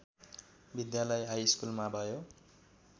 विद्यालय हाइस्कुलमा भयो